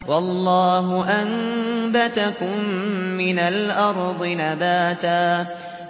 وَاللَّهُ أَنبَتَكُم مِّنَ الْأَرْضِ نَبَاتًا